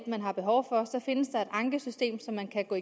man har behov for findes der et ankesystem som man kan gå